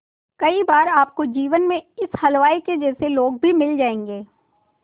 कई बार आपको जीवन में इस हलवाई के जैसे लोग भी मिल जाएंगे